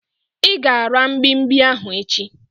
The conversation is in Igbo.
I ga-ara mgbimgbi ahu echi